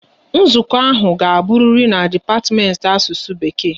Nzukọ ahụ ga aburiri n'dipatimenti Asusu Bekee